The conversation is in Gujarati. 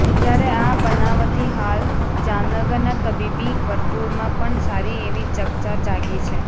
જ્યારે આ બનાવથી હાલ જામનગરના તબીબી વર્તુળમાં પણ સારી એવી ચકચાર જાગી છે